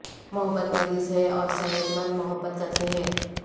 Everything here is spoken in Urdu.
محبت مریض ہے اور صحت مند محبت کرتے ہیں